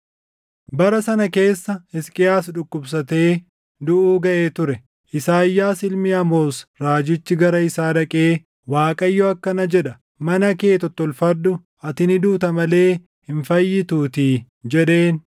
Bara sana keessa Hisqiyaas dhukkubsatee duʼuu gaʼee ture. Isaayyaas ilmi Amoos raajichi gara isaa dhaqee, “ Waaqayyo akkana jedha: Mana kee tottolfadhu; ati ni duuta malee hin fayyituutii” jedheen.